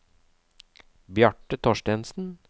Bjarte Thorstensen